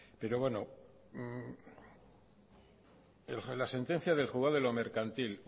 pero bueno la sentencia del juzgado de lo mercantil